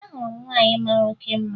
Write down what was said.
Ahụrụ m nwaanyị mara oke mma